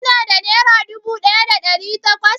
Ka na da nera dubu ɗaya da ɗari takwas?